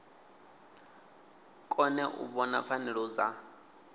kone u vhona pfanelo dza